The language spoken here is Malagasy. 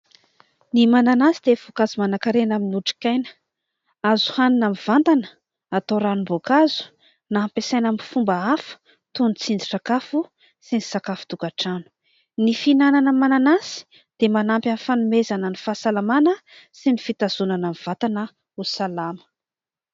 Ny mananasy dia voankazo manan-karena amin'ny otrikaina : azo hanina mivantana, atao ranom-boankazo, na ampiasaina amin'ny fomba hafa toy ny tsindrin-tsakafo sy ny sakafo tokantrano. Ny fihinanana mananasy dia manampy amin'ny fanomezana ny fahasalamana sy ny fitazonana ny vantana ho salama.